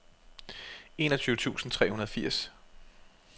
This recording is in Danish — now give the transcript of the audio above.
enogtyve tusind tre hundrede og firs